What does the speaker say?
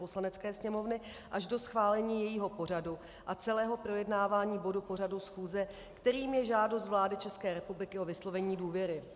Poslanecké sněmovny až do schválení jejího pořadu a celého projednávání bodu pořadu schůze, kterým je žádost vlády České republiky o vyslovení důvěry.